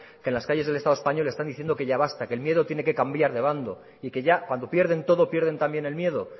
que en las calles del estado español están diciendo que ya basta que el miedo tiene que cambiar de bando y que ya cuando pierden todo pierden también el miedo